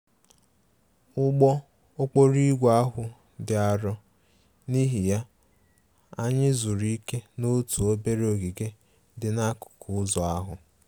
Ụgbọ okporo ígwè ahụ dị arọ, n'ihi ya, anyị zuru ike n'otu obere ogige dị n'akụkụ ụzọ ahụ